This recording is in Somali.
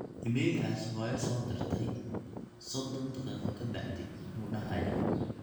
iimaylkaas hoyo soo dirtay sodon daqiiqo kabacdi muxuu dahaaya